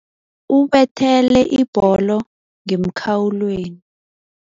Ubethele ibholo ngemkhawulweni.